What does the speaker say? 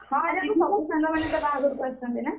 ଆରେ ଆମ ସବୁ ସାଙ୍ଗମାନେ ତା ବାହାଘରକୁ ଆସୁଛନ୍ତି ନା?